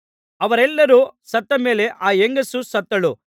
ಅವರೆಲ್ಲರು ಸತ್ತ ಮೇಲೆ ಆ ಹೆಂಗಸೂ ಸತ್ತಳು